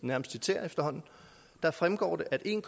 nærmest citere efterhånden og der fremgår det at en